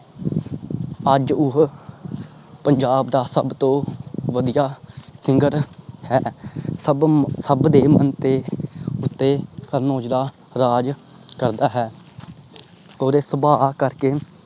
ਅੱਜ ਉਹ ਪੰਜਾਬ ਦਾ ਸਬ ਤੋਂ ਵਧੀਆ SINGER ਹੈ। ਸਬ ਦੇ ਮਨ ਉਤੇ ਕਰਨ ਔਜਲਾ ਰਾਜ ਕਰਦਾ ਹੈ ਔਰ ਸੁਬਾਹ ਕਰਕੇ